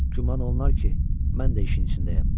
Güman olunar ki, mən də işin içindəyəm.